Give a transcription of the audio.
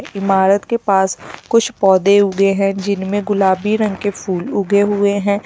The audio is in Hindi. इमारत के पास कुछ पौधे उगे हैं जिनमें गुलाबी रंग के फूल उगे हुए हैं।